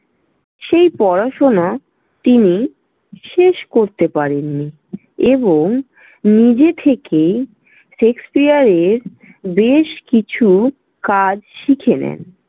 সেই পড়াশোনা তিনি শেষ করতে পারেননি এবং নিজে থেকেই শেক্সপিয়ারের বেশ কিছু কাজ শিখে নেন।